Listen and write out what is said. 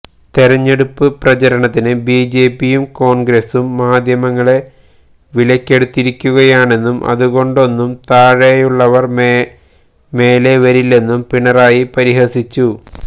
തെരഞ്ഞെടുപ്പ് പ്രചാരണത്തിന് ബിജെപിയും കോണ്ഗ്രസും മാധ്യമങ്ങളെ വിലയ്ക്കെടുത്തിരിക്കുകയാണെന്നും ഇതുകൊണ്ടൊന്നും താഴെയുള്ളവര് മേലെ വരില്ലെന്നും പിണറായി പരിഹസിച്ചു